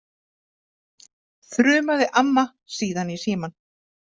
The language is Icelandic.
þrumaði amma síðan í símann.